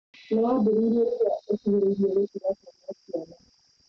No wambĩrĩrie rĩrĩa ũkuhĩrĩirie gũtiga kũgia ciana